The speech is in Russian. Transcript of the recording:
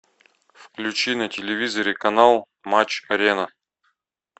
включи на телевизоре канал матч арена